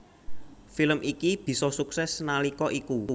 Film iki bisa sukses nalika iku